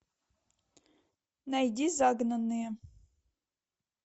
найди загнанные